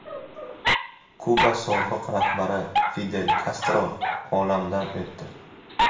Kuba sobiq rahbari Fidel Kastro olamdan o‘tdi.